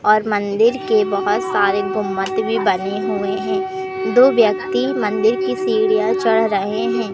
और मंदिर के बहोत सारे गुंबद भी बने हुए हैं दो व्यक्ति मंदिर की सीढ़ियां चढ़ रहे हैं।